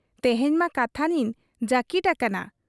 ᱛᱮᱦᱮᱧ ᱢᱟ ᱠᱟᱛᱷᱟᱱᱤᱧ ᱡᱟᱹᱠᱤᱴ ᱟᱠᱟᱱᱟ ᱾